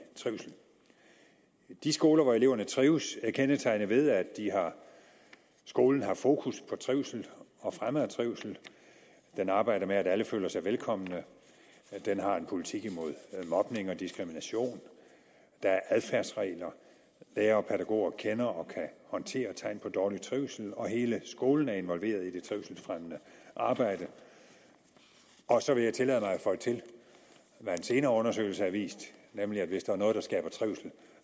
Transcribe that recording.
trivsel de skoler hvor eleverne trives er kendetegnet ved at skolen har fokus på trivsel og fremme af trivsel man arbejder med at alle føler sig velkomne den har en politik imod mobning og diskrimination der er adfærdsregler lærere og pædagoger kender og kan håndtere tegn på dårlig trivsel og hele skolen er involveret i det trivselsfremmende arbejde og så vil jeg tillade mig at føje til hvad en senere undersøgelse har vist nemlig at hvis der er noget der skaber trivsel